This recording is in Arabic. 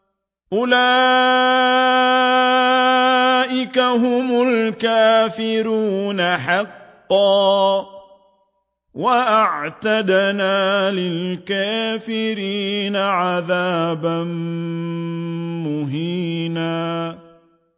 أُولَٰئِكَ هُمُ الْكَافِرُونَ حَقًّا ۚ وَأَعْتَدْنَا لِلْكَافِرِينَ عَذَابًا مُّهِينًا